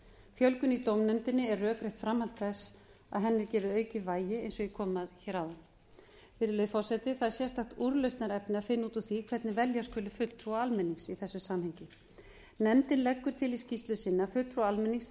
fjölgun í dómnefndinni er rökrétt framhald þess að henni er gefið aukið vægi eins og ég kom að hér áðan virðulegi forseti það er sérstakt úrlausnarefni að finna út úr því hvernig velja skuli fulltrúa almennings í þessu samhengi nefndin leggur til í skýrslu sinni að fulltrúar almennings